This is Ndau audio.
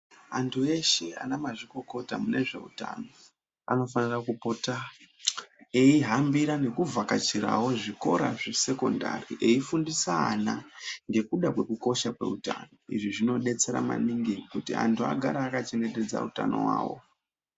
Anthu eshe ana mazvikokota mune zveutano anofana kupota eihambira nekuvhakachirao zvikora zvesekondari eifundisa ana ngekuda kwekukosha kweutano izvi zvinodetsera maningi kuti anthu agare akachengetedza utano hwao.